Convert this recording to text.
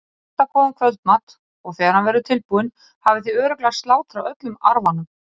Ég elda góðan kvöldmat og þegar hann verður tilbúinn hafið þið örugglega slátrað öllum arfanum.